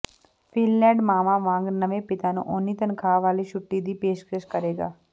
Finland ਮਾਵਾਂ ਵਾਂਗ ਨਵੇਂ ਪਿਤਾ ਨੂੰ ਓਨੀ ਤਨਖਾਹ ਵਾਲੀ ਛੁੱਟੀ ਦੀ ਪੇਸ਼ਕਸ਼ ਕਰੇਗਾ